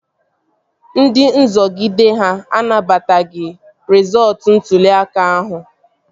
Ndị nzọgide ha anabataghị rịzọọtu ntụli aka ahụ